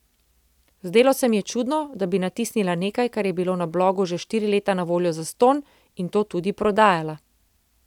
Zdelo se mi je čudno, da bi natisnila nekaj, kar je bilo na blogu že štiri leta na voljo zastonj, in to tudi prodajala.